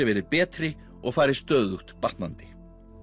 verið betri og fari stöðugt batnandi